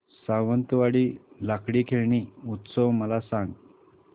सावंतवाडी लाकडी खेळणी उत्सव मला सांग